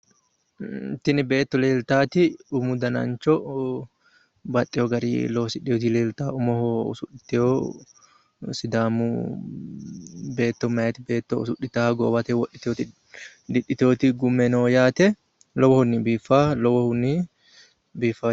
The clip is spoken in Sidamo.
Tini beetto leeltaati umu danancho baxxewo gari loosidhewoti leeltawo umoho usudhitewohu sidaamu beetto meyaa beetto usudhitawo didhitewoti gume no yaate lowohunni biiffawo lowohunni biiffawo.